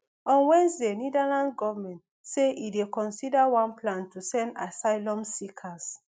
on wednesday netherlands goment say e dey consider one plan to send asylum seekers